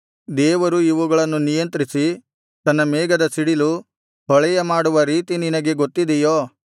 ದೇವರು ಇವುಗಳನ್ನು ನಿಯಂತ್ರಿಸಿ ತನ್ನ ಮೇಘದ ಸಿಡಿಲು ಹೊಳೆಯ ಮಾಡುವ ರೀತಿ ನಿನಗೆ ಗೊತ್ತಿದೆಯೋ